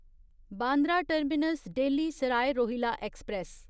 Bandra terminus Delhi Sarai Rohilla express